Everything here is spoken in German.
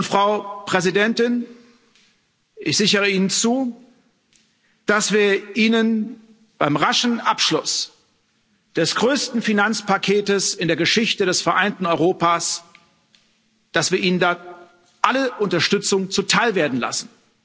Frau Präsidentin, ich sichere Ihnen zu, dass wir Ihnen beim raschen Abschluss des größten Finanzpaketes in der Geschichte des vereinten Europas, dass wir Ihnen da alle Unterstützung zuteilwerden lassen.